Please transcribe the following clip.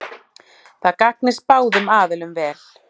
Það gagnist báðum aðilum vel